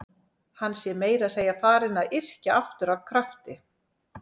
Hann sé meira að segja farinn að yrkja aftur af krafti.